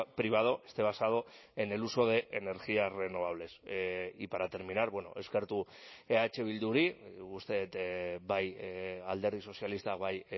privado esté basado en el uso de energías renovables y para terminar eskertu eh bilduri uste dut bai alderdi sozialistak bai